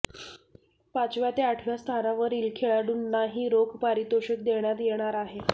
पाचव्या ते आठव्या स्थानावरिल खेळाडूंनाही रोख पारितोषिक देण्यात येणार आहे